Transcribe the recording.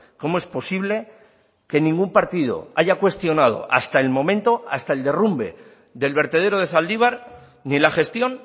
cómo es posible que ningún partido haya cuestionado hasta el momento hasta el derrumbe del vertedero de zaldibar ni la gestión